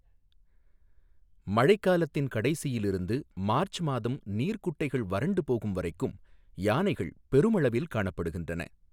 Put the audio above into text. மழைக்காலத்தின் கடைசியில் இருந்து மார்ச் மாதம் நீர்குட்டைகள் வறண்டு போகும் வரைக்கும் யானைகள் பெருமளவில் காணப்படுகின்றன.